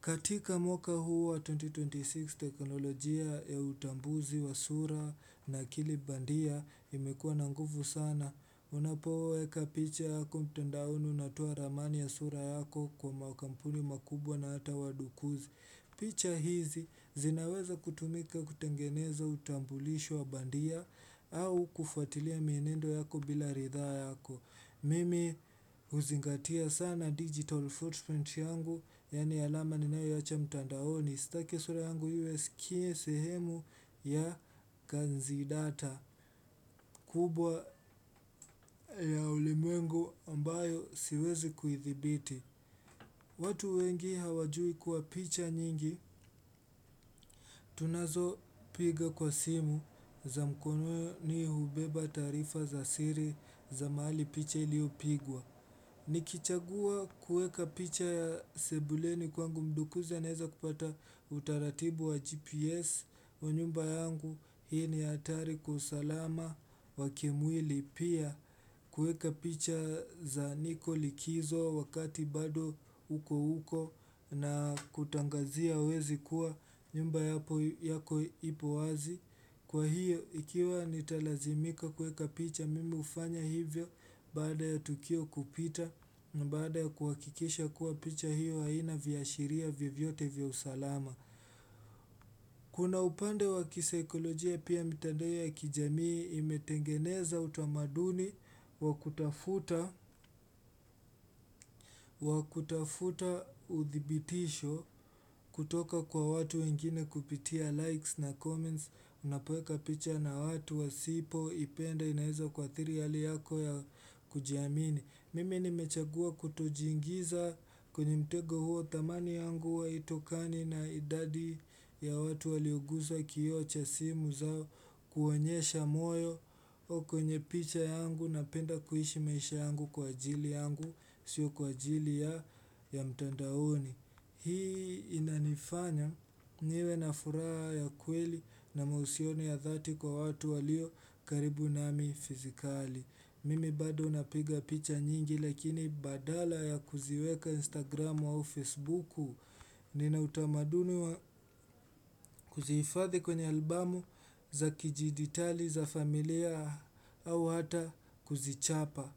Katika mwaka huu wa 2026 teknolojia ya utambuzi wa sura na akili bandia imekuwa na nguvu sana. Unapoweka picha yako mtandaoni unatoa ramani ya sura yako kwa makampuni makubwa na hata wadukuzi. Picha hizi zinaweza kutumika kutengeneza utambulisho wa bandia au kufuatilia mienendo yako bila ridhaa yako. Mimi huzingatia sana digital footprint yangu, yaani alama ni nayoiacha mtandaoni. Sitaki sura yangu iwe sikie sehemu ya kazi data. Kubwa ya ulimwengu ambayo siwezi kuithibiti. Watu wengi hawajui kuwa picha nyingi tunazopiga kwa simu za mkononi hubeba tarifa za siri za mahali picha iliyopigwa. Nikichagua kuweka picha ya sebuleni kwangu mdukuzi anaweza kupata utaratibu wa GPS wa nyumba yangu. Hii ni hatari kwa usalama wa kimwili pia kuweka picha za niko likizo wakati bado uko uko na kutangazia wezi kuwa nyumba yako ipo wazi Kwa hiyo ikiwa nitalazimika kuweka picha mimi ufanya hivyo baada ya tukio kupita na baada ya kuhakikisha kuwa picha hiyo haina viashiria vyovyote vya salama Kuna upande wa kisaikolojia pia mitandao ya kijamii imetengeneza utamaduni wa kutafuta, wa kutafuta uthibitisho kutoka kwa watu wengine kupitia likes na comments, unapoweka picha na watu wasipoipenda inaweza kuathiri hali yako ya kujiamini. Mimi nimechagua kutojiingiza kwenye mtego huo thamani yangu huwa haitokani na idadi ya watu walioguza kioo cha simu zao kuonyesha moyo o kwenye picha yangu napenda kuishi maisha yangu kwa ajili yangu sio kwa ajili ya ya mtandaoni. Hii inanifanya niwe na furaha ya kweli na mahusiano ya dhati kwa watu walio karibu nami fizikali. Mimi bado napiga picha nyingi lakini badala ya kuziweka Instagram wao Facebooku. Nina utamaduni kuzihifadhi kwenye albamu za kijiditali za familia au hata kuzichapa.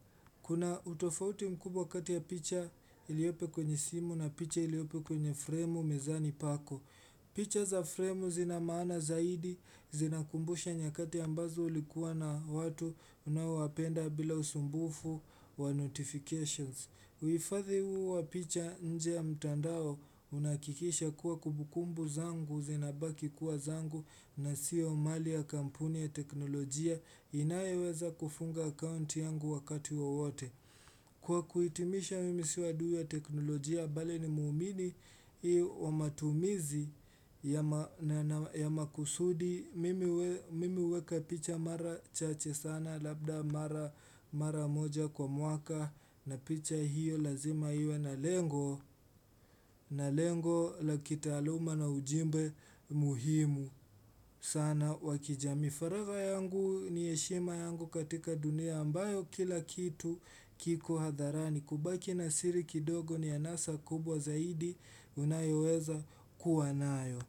Kuna utofauti mkubwa kati ya picha iliopo kwenye simu na picha iliopo kwenye fremu mezani pako. Picha za fremu zinamaana zaidi, zinakumbusha nyakati ambazo ulikuwa na watu unaowapenda bila usumbufu wa notifications. Hifadhi huu wa picha nje ya mtandao unakikisha kuwa kubukumbu zangu zinabaki kuwa zangu na siyo mali ya kampuni ya teknolojia inayeweza kufunga account yangu wakati ya wote Kwa kuhitimisha mimi sio adui wa teknolojia, bali ni muumini iyo wa matumizi ya makusudi, mimi huweka picha mara chache sana labda mara moja kwa mwaka na picha hiyo lazima iwe na lengo, na lengo la kitaaluma na ujumbe muhimu sana wa kijamii. Mifareva yangu ni heshima yangu katika dunia ambayo kila kitu kiko hadharani. Kubaki na siri kidogo ni anasa kubwa zaidi unayoweza kuwa nayo.